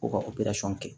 Ko ka kɛ